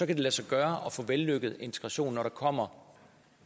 det lade sig gøre at få en vellykket integration når der kommer